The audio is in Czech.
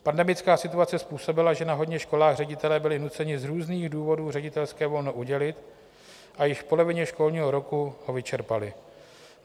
Pandemická situace způsobila, že na hodně školách ředitelé byli nuceni z různých důvodů ředitelské volno udělit, a již v polovině školního roku ho vyčerpali.